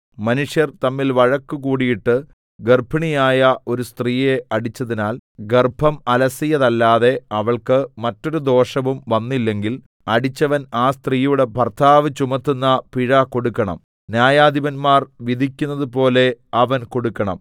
മനുഷ്യർ തമ്മിൽ വഴക്കുകൂടിയിട്ടു ഗർഭിണിയായ ഒരു സ്ത്രീയെ അടിച്ചതിനാൽ ഗർഭം അലസിയതല്ലാതെ അവൾക്ക് മറ്റൊരു ദോഷവും വന്നില്ലെങ്കിൽ അടിച്ചവൻ ആ സ്ത്രീയുടെ ഭർത്താവ് ചുമത്തുന്ന പിഴ കൊടുക്കണം ന്യായാധിപന്മാർ വിധിക്കുന്നതുപോലെ അവൻ കൊടുക്കണം